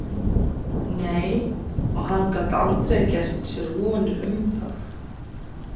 Nei, og hann gat aldrei gert sér vonir um það.